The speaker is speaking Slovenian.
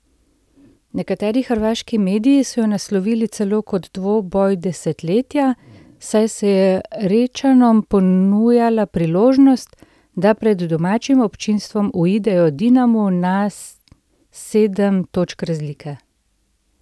Nekateri hrvaški mediji so jo naslovili celo kot dvoboj desetletja, saj se je Rečanom ponujala priložnost, da pred domačim občinstvo uidejo Dinamu na sedem točk razlike.